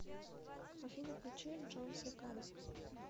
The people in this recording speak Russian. афина включи джон секада